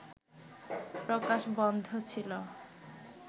প্রকাশ বন্ধ ছিল